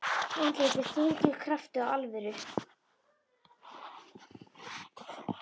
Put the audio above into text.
Andlitið er þrungið krafti og alvöru.